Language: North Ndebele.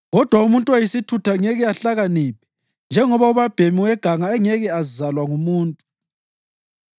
Kodwa umuntu oyisithutha ngeke ahlakaniphe njengoba ubabhemi weganga engeke azalwa ngumuntu.